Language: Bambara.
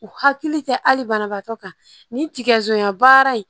U hakili tɛ hali banabaatɔ kan nin tigɛ baara